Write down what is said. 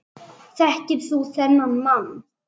Þekkir þú þennan mann?